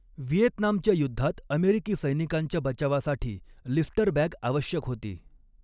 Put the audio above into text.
व्हिएतनामच्या युद्धात अमेरिकी सैनिकांच्या बचावासाठी लिस्टर बॅग आवश्यक होती.